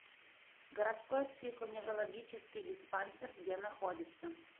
городской психоневрологический диспансер где находится